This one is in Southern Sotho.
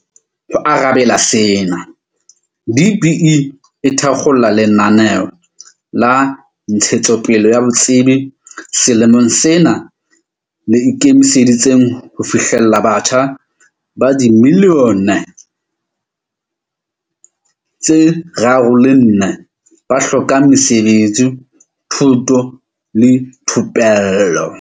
Ho arabela sena, DBE e thakgola lenaneo la ntshetsopele ya botsebi selemong sena le ikemiseditseng ho fihlella batjha ba dimillione tse 3 le 4 ba hlokang mesebetsi, thuto le thupello.